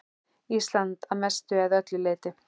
Ísland að mestu eða öllu leyti.